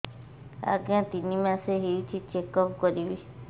ଆଜ୍ଞା ତିନି ମାସ ହେଇଛି ଚେକ ଅପ କରିବି